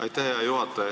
Aitäh, hea juhataja!